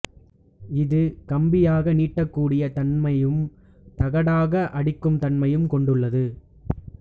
இது கம்பியாக நீட்டக்கூடிய தன்மையும் தகடாக அடிக்கும் தன்மையும் கொண்டுள்ளது